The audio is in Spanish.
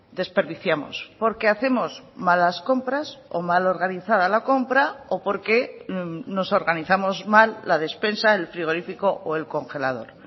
desperdiciamos porque hacemos malas compras o mal organizada la compra o porque nos organizamos mal la despensa el frigorífico o el congelador